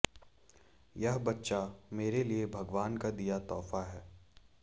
यह बच्चा मेरे लिए भगवान का दिया तोहफा है